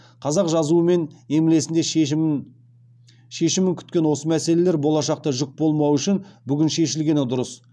қазақ жазуы мен емлесінде шешімін күткен осы мәселелер болашаққа жүк болмауы үшін бүгін шешілгені дұрыс